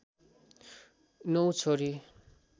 नौ छोरी